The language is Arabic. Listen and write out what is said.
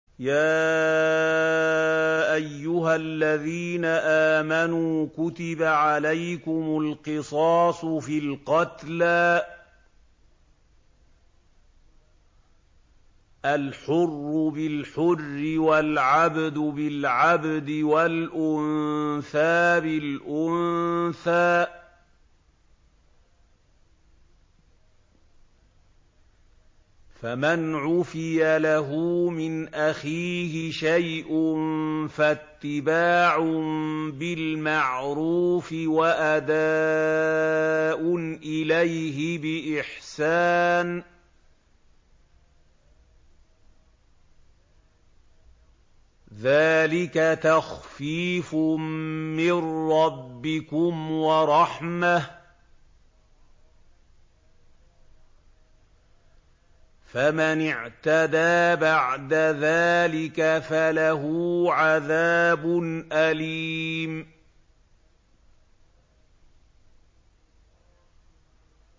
يَا أَيُّهَا الَّذِينَ آمَنُوا كُتِبَ عَلَيْكُمُ الْقِصَاصُ فِي الْقَتْلَى ۖ الْحُرُّ بِالْحُرِّ وَالْعَبْدُ بِالْعَبْدِ وَالْأُنثَىٰ بِالْأُنثَىٰ ۚ فَمَنْ عُفِيَ لَهُ مِنْ أَخِيهِ شَيْءٌ فَاتِّبَاعٌ بِالْمَعْرُوفِ وَأَدَاءٌ إِلَيْهِ بِإِحْسَانٍ ۗ ذَٰلِكَ تَخْفِيفٌ مِّن رَّبِّكُمْ وَرَحْمَةٌ ۗ فَمَنِ اعْتَدَىٰ بَعْدَ ذَٰلِكَ فَلَهُ عَذَابٌ أَلِيمٌ